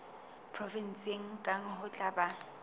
provenseng kang ho tla ba